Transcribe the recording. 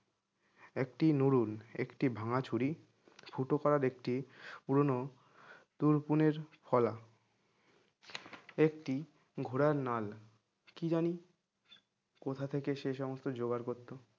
একটি নুডুল একটি ভাঙা ছড়ি ফুটো করার একটি পুরনো তুরপুনের ফলা একটি ঘোড়ার নাল কি জানি কোথা থেকে সে সমস্ত জোগাড় করতো